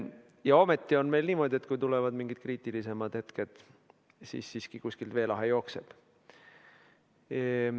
Ja ometi on meil niimoodi, et kui tulevad mingid kriitilisemad hetked, siis siiski kuskilt veelahe jookseb.